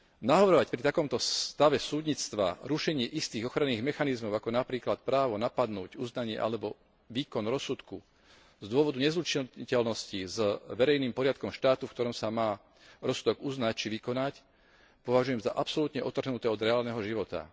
Navrhovať pri takomto stave súdnictva rušenie istých ochranných mechanizmov, ako napríklad právo napadnúť uznanie alebo výkon rozsudku z dôvodu nezlučiteľnosti s verejným poriadkom štátu, v ktorom sa má rozsudok uznať či vykonať, považujem za absolútne odtrhnuté od reálneho života.